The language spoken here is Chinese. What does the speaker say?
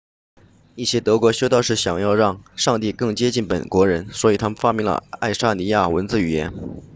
一些德国修道士想让上帝更接近本国人所以他们发明了爱沙尼亚文字语言